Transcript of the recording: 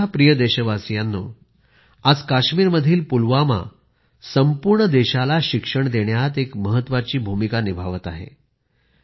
माझ्या प्रिय देशवासीयांनो आज काश्मीरमधील पुलवामा संपूर्ण देशाला शिक्षण देण्यात एक महत्त्वाची भूमिका निभावत आहे